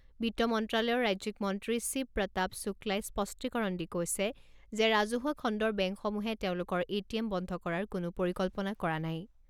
বিত্ত মন্ত্ৰালয়ৰ ৰাজ্যিক মন্ত্ৰী শিৱ প্ৰতাপ শুক্লাই স্পষ্টীকৰণ দি কৈছে যে ৰাজহুৱা খণ্ডৰ বেংকসমূহে তেওঁলোকৰ এ টি এম বন্ধ কৰাৰ কোনো পৰিকল্পনা কৰা নাই।